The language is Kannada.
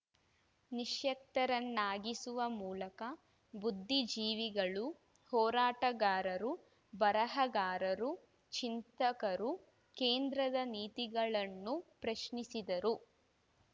ನಿಶ್ಯಕ್ತರನ್ನಾಗಿಸುವ ಮೂಲಕ ಬುದ್ಧಿಜೀವಿಗಳು ಹೋರಾಟಗಾರರು ಬರಹಗಾರರು ಚಿಂತಕರು ಕೇಂದ್ರದ ನೀತಿಗಳನ್ನು ಪ್ರಶ್ನಿಸಿದರು